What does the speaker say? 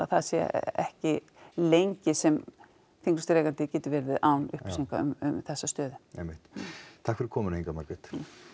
það sé ekki lengi sem þinglýstur eigandi getur verið án upplýsinga um þessa stöðu einmitt takk fyrir komuna Inga Margrét